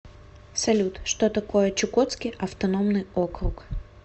салют что такое чукотский автономный округ